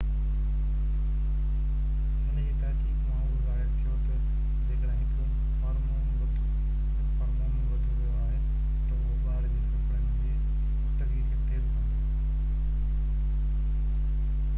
هن جي تحقيق مان اهو ظاهر ٿيو ته جيڪڏهن هڪ هارمون وڌو ويو آهي ته اهو ٻار جي ڦڦڙڻ جي پختگي کي تيز ڪندو